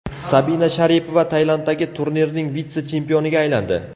Sabina Sharipova Tailanddagi turnirning vitse-chempioniga aylandi.